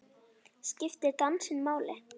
Skiptir dansinn máli?